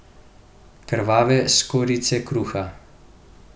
Krvave skorjice kruha.